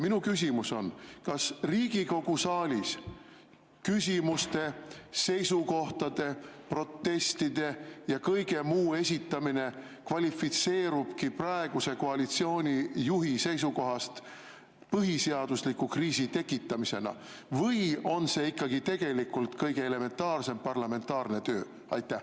Minu küsimus on: kas Riigikogu saalis küsimuste, seisukohtade, protestide ja kõige muu esitamine kvalifitseerub praeguse koalitsiooni juhi seisukohast põhiseadusliku kriisi tekitamisena või on see ikkagi tegelikult kõige elementaarsem parlamentaarne töö?